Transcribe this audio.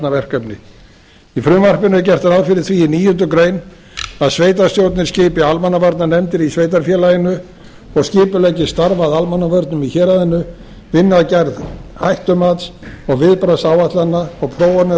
almannavarnaverkefni í frumvarpinu er gert ráð fyrir því í níundu grein að sveitarstjórnir skipi almannavarnanefndir í sveitarfélaginu og skipuleggi starf að almannavörnum í héraðinu vinni að gerð hættumats og viðbragðsáætlana og prófanir